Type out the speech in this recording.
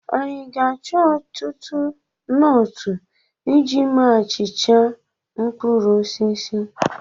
Anyị ga-achọ ọtụtụ nọọtụ iji mee achịcha mkpụrụ osisi?